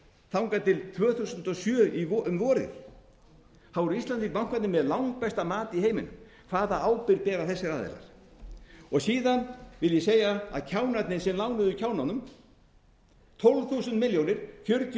þangað til tvö þúsund og sjö um vorið þá voru íslensku bankarnir með langbesta mat í heiminum hvaða ábyrgð bera þessir aðilar síðan vil ég segja að kjánarnir sem lánuðu kjánunum tólf hundruð milljóna fjörutíu milljónir